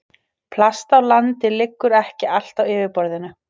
Plast á landi liggur ekki allt á yfirborðinu.